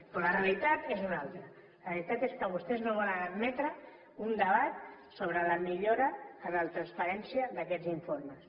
però la realitat és una altra la realitat és que vostès no volen admetre un debat sobre la millora en la transparència d’aquests informes